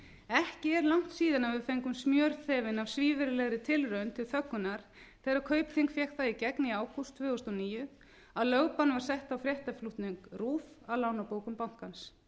ekki er langt síðan við fengum smjörþefinn af svívirðilegri tilraun til þöggunar þegar kaupþing fékk það í gegn í ágúst tvö þúsund og níu að lögbann var sett á fréttaflutning rúv af lánabókum bankans